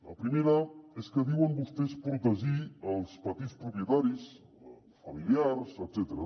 la primera és que diuen vostès que protegeixen els petits propietaris familiars etcètera